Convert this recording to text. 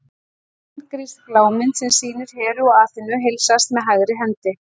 Forngrísk lágmynd sem sýnir Heru og Aþenu heilsast með hægri hendi.